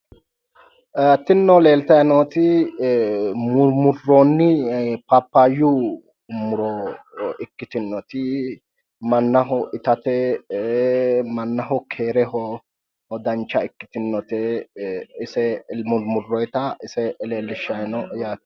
Tinino leeltayi nooti murmmurroonni paapaayyu muro ikkittinnoti mannaho itate mannaho keereho dancha ikkitinno ise murmmurroyiita ise leellishshayi no yaate.